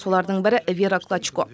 солардың бірі вера клочко